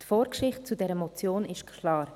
Die Vorgeschichte zu dieser Motion ist klar;